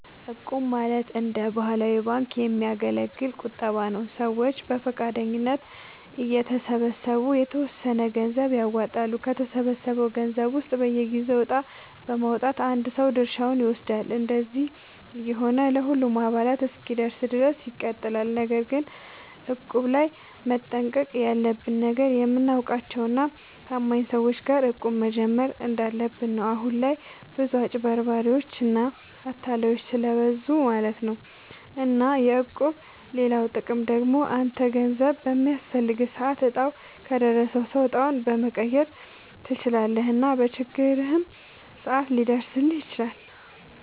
እቁብ ማለት እንደ ባህላዊ ባንክ የሚያገለግል ቁጠባ ነዉ። ሰዎች በፈቃደኝነት እየተሰባሰቡ የተወሰነ ገንዘብ ያዋጣሉ፣ ከተሰበሰበው ገንዘብ ውስጥ በየጊዜው እጣ በማዉጣት አንድ ሰው ድርሻውን ይወስዳል። እንደዚህ እየሆነ ለሁሉም አባላት እስኪደርስ ድረስ ይቀጥላል። ነገር ግን እቁብ ላይ መጠንቀቅ ያለብህ ነገር፣ የምታውቃቸው እና ታማኝ ሰዎች ጋር እቁብ መጀመር እንዳለብህ ነው። አሁን ላይ ብዙ አጭበርባሪዎች እና አታላዮች ስለብዙ ማለት ነው። እና የእቁብ ሌላኛው ጥቅም ደግሞ አንተ ገንዘብ በሚያስፈልግህ ሰዓት እጣው ከደረሰው ሰው እጣውን መቀየር ትችላለህ እና በችግርህም ሰዓት ሊደርስልህ ይችላል።